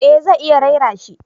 Eh zai iya raira shi